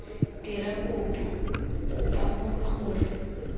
dira kopo kopa mongwe gore